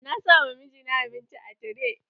Na sa ma mijina abinci a tire.